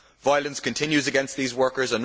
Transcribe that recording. Violence continues against these workers.